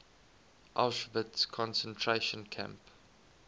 auschwitz concentration camp